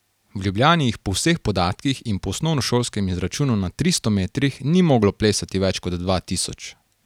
V Ljubljani jih po vseh podatkih in po osnovnošolskem izračunu na tristo metrih ni moglo plesati več kot dva tisoč.